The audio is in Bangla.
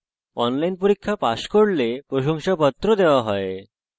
যারা online পরীক্ষা pass করে তাদের প্রশংসাপত্র দেওয়া হয়